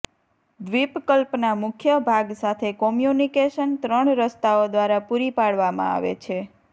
દ્વીપકલ્પના મુખ્ય ભાગ સાથે કોમ્યુનિકેશન ત્રણ રસ્તાઓ દ્વારા પૂરી પાડવામાં આવે છે